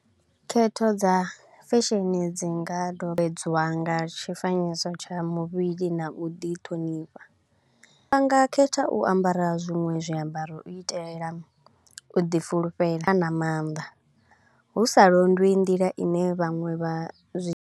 Khetho dza fashion dzi nga nga tshifanyiso tsha muvhili na u ḓi ṱhonifha. Vha nga khetha u ambara zwiṅwe zwiambaro u itelela u ḓi fulufhela na maanḓa, hu sa londwi nḓila i ne vhaṅwe vha zwi.